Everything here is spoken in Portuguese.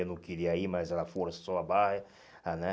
Eu não queria ir, mas ela forçou a barra, ah né?